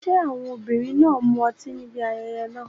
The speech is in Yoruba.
Ṣé àwọn obìnrin náà mu ọtí níbi ayẹyẹ náà?